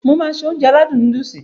Mo máá se Ounjẹ aládùn nóódùsì